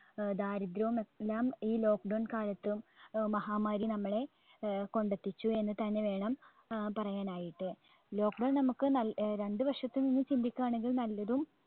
ഏർ ദാരിദ്രവും എല്ലാം ഈ lockdown കാലത്തും ഏർ മഹാമാരി നമ്മളെ ഏർ കൊണ്ടെത്തിച്ചു എന്ന് തന്നെ വേണം ഏർ പറയാനായിട്ട് lockdown നമ്മുക്ക് നൽ രണ്ട്‌ വശത്ത് നിന്നും ചിന്ടിക്കാണെങ്കിൽ നല്ലതും